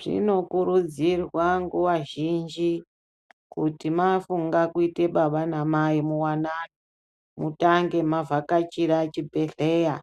Zvinokurudzirwa nguva zhinji kuti mafunga kuite baba namai muwanano mutange mavhakachira chibhedhleya